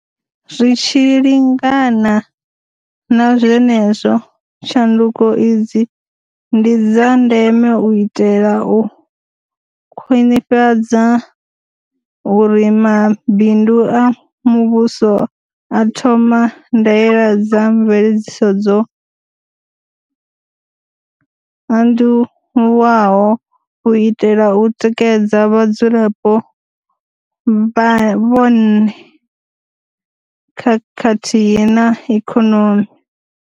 Zwi tshi lingana na zwenezwo, tshanduko idzi ndi dza ndeme u itela u khwaṅhisedza uri mabindu a muvhuso a thoma ndaela dza mveledziso dzo anduavhuwaho u itela u tikedza vhadzulapo vhonne khathihi na ikonomi.